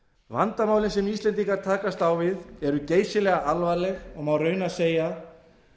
vandamálin sem íslendingar takast á við eru geysilega alvarleg og má raunar segja